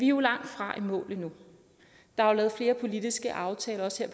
jo langt fra i mål endnu der er lavet flere politiske aftaler også